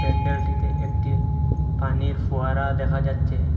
প্যান্ডেলটিতে একটি পানির ফোয়ারা দেখা যাচ্ছে।